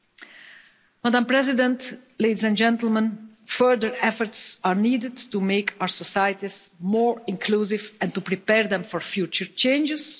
Madam President, ladies and gentlemen, further efforts are needed to make our societies more inclusive and to prepare them for future changes.